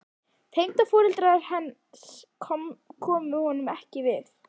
Tengdaforeldrar hans komu honum ekki við.